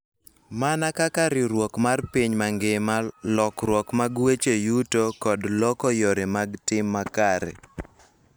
Mana kaka riwruok mar piny mangima, lokruok mag weche yuto, kod loko yore mag tim makare.